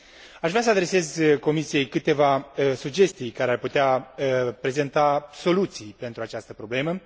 Aș vrea să adresez Comisiei câteva sugestii care ar putea prezenta soluții pentru această problemă.